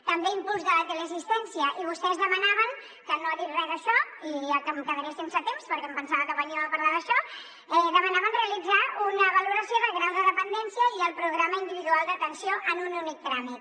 també impuls de la teleassistència i vostès demanaven que no ha dit re d’això i em quedaré sense temps perquè em pensava que veníem a parlar d’això realitzar una valoració del grau de dependència i el programa individual d’atenció en un únic tràmit